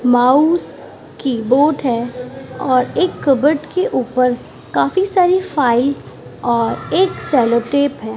Mouse keyboard है और एक कबर्ड के ऊपर काफी सारी फाइल और एक सेलो टेप है।